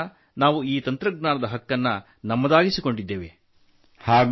ಈ ವರ್ಷ ನಾವು ಈ ತಂತ್ರಜ್ಞಾನದ ಹಕ್ಕನ್ನು ನಮ್ಮದಾಗಿಸಿಕೊಂಡಿದ್ದೇವೆ